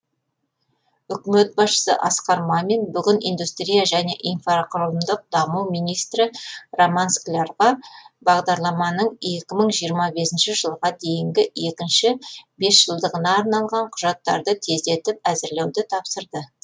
үкімет басшысы асқар мамин бүгін индустрия және инфрақұрылымдық даму министрі роман склярға бағдарламаның екі мың жиырма бесінші жылға дейінгі екінші бес жылдығына арналған құжаттарды тездетіп әзірлеуді тапсырды